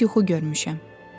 Pis yuxu görmüşəm.